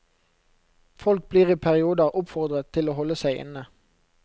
Folk blir i perioder oppfordret til å holde seg inne.